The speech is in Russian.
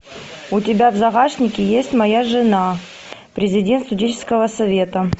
у тебя в загашнике есть моя жена президент студенческого совета